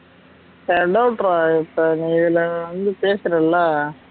இப்ப இப்போ நீ இதுல வந்து பேசுறல்ல